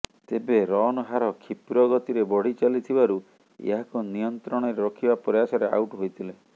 ତେବେ ରନ୍ ହାର କ୍ଷିପ୍ର ଗତିରେ ବଢ଼ି ଚାଲିଥିବାରୁ ଏହାକୁ ନିୟନ୍ତ୍ରଣରେ ରଖିବା ପ୍ରୟାସରେ ଆଉଟ୍ ହୋଇଥିଲେ